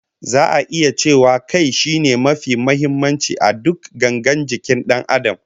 Za'a iya cewa Kai shine mafi muhimmanci a duk gangar jikin Dan Adam